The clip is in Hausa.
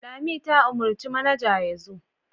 Lami ta umarci manaja ya zo.